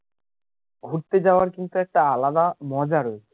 ঘুরতে যাওয়ার কিন্তু একটা আলাদা মজা রয়েছে